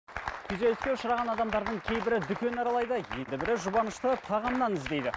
күйзеліске ұшыраған адамдардың кейбірі дүкен аралайды енді бірі жұбанышты тағамнан іздейді